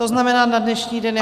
To znamená na dnešní den?